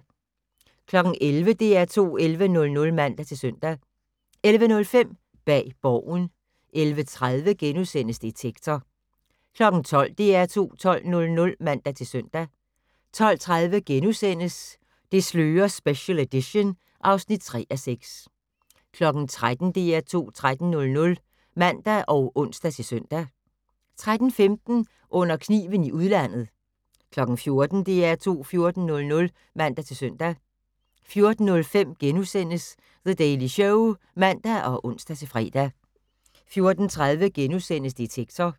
11:00: DR2 11:00 (man-søn) 11:05: Bag Borgen 11:30: Detektor * 12:00: DR2 12:00 (man-søn) 12:30: Det slører special edition (3:6)* 13:00: DR2 13:00 (man og ons-søn) 13:15: Under kniven i udlandet 14:00: DR2 14:00 (man-søn) 14:05: The Daily Show *(man og ons-fre) 14:30: Detektor *